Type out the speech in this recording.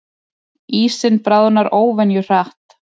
Ísinn bráðnar óvenju hratt